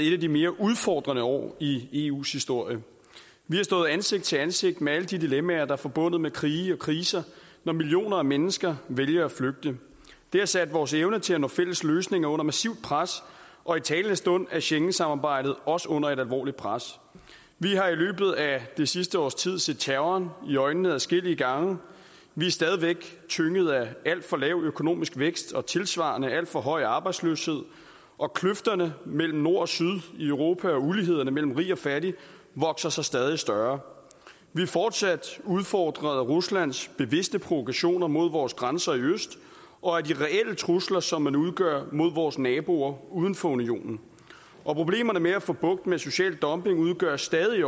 et af de mere udfordrende år i eus historie vi har stået ansigt til ansigt med alle de dilemmaer der er forbundet med krige og kriser når millioner af mennesker vælger at flygte det har sat vores evne til at nå fælles løsninger under massivt pres og i talende stund er schengensamarbejdet også under et alvorligt pres vi har i løbet af det sidste års tid set terroren i øjnene adskillige gange vi er stadig væk tynget af alt for lav økonomisk vækst og tilsvarende af alt for høj arbejdsløshed og kløfterne mellem nord og syd i europa og ulighederne mellem rige og fattige vokser sig stadig større vi er fortsat udfordret af ruslands bevidste provokationer mod vores grænser i øst og af de reelle trusler som det udgør mod vores naboer uden for unionen og problemerne med at få bugt med social dumping udgør stadig